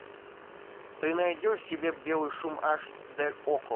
ты найдешь себе белый шум аш д окко